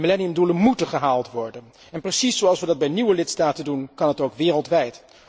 De millenniumdoelen moeten gehaald worden, en precies zoals we dat bij nieuwe lidstaten doen, kan dat ook wereldwijd.